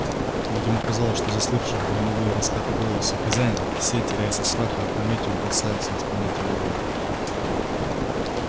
ведь ему казалось что заслышав громовые раскаты голоса хозяина все трясясь от страха опрометью бросаются исполнять его волю